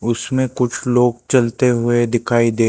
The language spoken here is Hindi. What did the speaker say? उसमे कुछ लोग चलते हुए दिखाई दे--